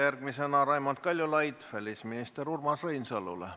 Järgmisena esitab Raimond Kaljulaid küsimuse välisminister Urmas Reinsalule.